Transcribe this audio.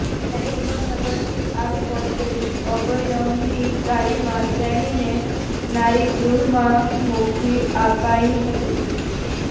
ત્યારે હિંમતનગરથી આવી પહોંચેલી અભયમ્ની ગાડીમાં તેણીને નારીગૃહમાં મોકલી અપાઈ હતી